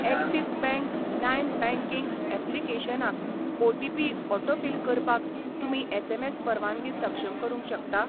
Axis bank lime banking ऍप्लिकेशनाक OTP autofill करपाक तुमी एसएमएस परवानगी सक्षम करूंक शकता?